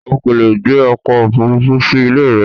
O kò lè gbé ọkọ̀ òfuurufú sí ilé rẹ.